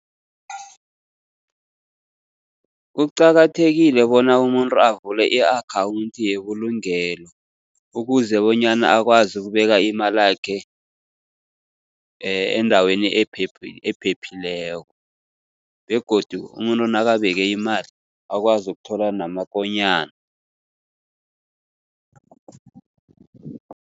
Kuqakathekile bona umuntu avule i-akhawunthi yebulungelo, ukuze bonyana akwazi ukubeka imalakhe endaweni ephephileko. Begodu umuntu nakabeke imali akwazi ukuthola namakonyana.